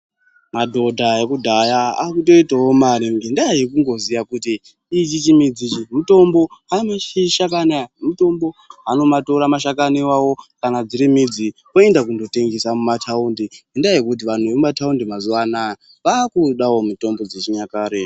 Madhodha ekudhaya akutoitawo mare ngendaa yekundoziye kuti ichi chimudzi ichi mutombo, mashakani aya mutombo. Anoatora mashakani iwawo kana dziri midzi oenda kootengesa mumataundi ngendaa yekuti nantu vemumathawundi mazuwa anaya vakudawo mitombo dzechinyakare.